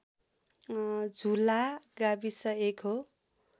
झुला गाविस एक हो